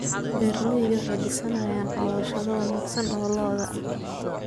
Beeraleydu waxay dhisayaan cooshado wanaagsan oo lo'da ah.